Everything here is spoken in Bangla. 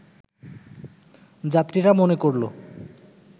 যাত্রীরা মনে করলো